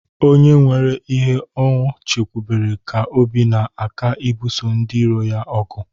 Onye nwere ihe o chekwubere ka obi na-aka ibuso ndiiro ya ogu.